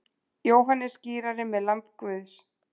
Jóhannes skírari með lamb Guðs.